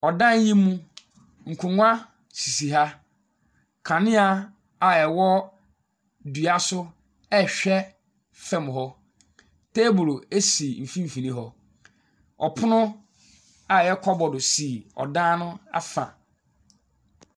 Ɔdan yi mu. Nkonnwa sisi ha, kanea a ɛwɔ dua so a rehwɛ fam hɔ. Teebolo si mfimfini hɔ. Ɔpono a ɛyɛ kɔbɔdo si ɔdan ho afa.